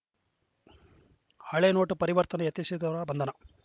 ಹಳೆ ನೋಟು ಪರಿವರ್ತನೆ ಯತ್ನಿಸಿದವರ ಬಂಧನ